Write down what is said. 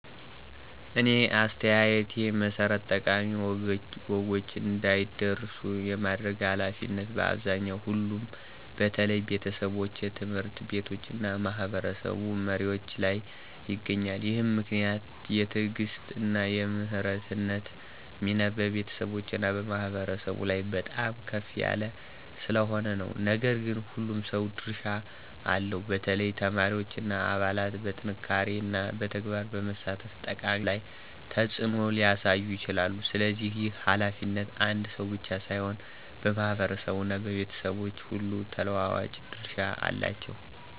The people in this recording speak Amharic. እኔ አስተያየቴ መሠረት ጠቃሚ ወጎች እንዳይረሱ የማድረግ ኃላፊነት በአብዛኛው ሁሉም በተለይ ቤተሰቦች፣ ትምህርት ቤቶች እና ማህበረሰብ መሪዎች ላይ ይገኛል። ይህ ምክንያት የትዕግሥት እና የመምህርነት ሚና በቤተሰቦች እና በማህበረሰብ ላይ በጣም ከፍ ያለ ስለሆነ ነው። ነገር ግን ሁሉም ሰው ድርሻ አለው፣ በተለይ ተማሪዎች እና አባላት በጥንካሬና በተግባር በመሳተፍ ጠቃሚ ውጤት ላይ ተጽዕኖ ሊያሳዩ ይችላሉ። ስለዚህ ይህ ኃላፊነት አንድ ሰው ብቻ ሳይሆን በማህበረሰብ እና በቤተሰቦች ሁሉ ተለዋዋጭ ድርሻ አለው።